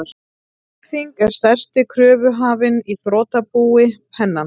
Kaupþing er stærsti kröfuhafinn í þrotabú Pennans.